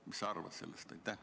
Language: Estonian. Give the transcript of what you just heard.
Mis sa arvad sellest?